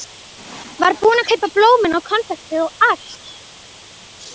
Var búinn að kaupa blómin og konfektið og allt.